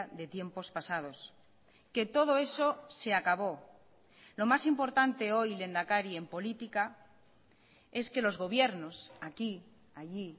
de tiempos pasados que todo eso se acabó lo más importante hoy lehendakari en política es que los gobiernos aquí allí